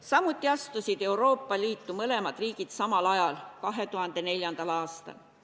Samuti astusid Euroopa Liitu mõlemad riigid samal ajal – 2004. aastal.